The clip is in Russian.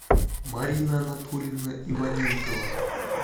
марина анатольевна иваненкова